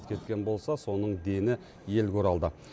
кеткен болса соның дені елге оралды